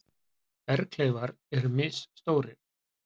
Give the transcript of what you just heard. Berghleifar eru misstórir.